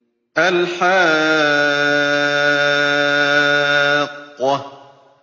الْحَاقَّةُ